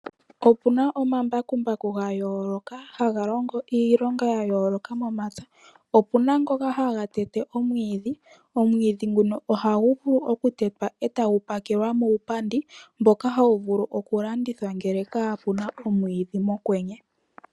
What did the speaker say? Opuna omamabakumbaku gayooloka haga longo iilonga yayooloka, opuna ngoka haga tete omwidhi, omwidhi nguka hagu vulu okutetwa eta gu pakelwa muupandi mboka hawu vulu okulanduithwa ngele kapu na omwidhi mokwenye.